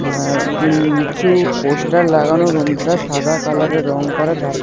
এ্যাঁ কিন্চু পোস্টার লাগানো রুমটা সাদা কালারের রঙ করা চারপাশ।